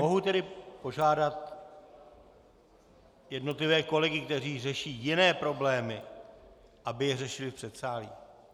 Mohu tedy požádat jednotlivé kolegy, kteří řeší jiné problémy, aby je řešili v předsálí?